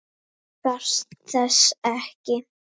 Þú þarft þess ekki.